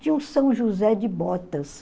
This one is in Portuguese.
Tinha o São José de Botas.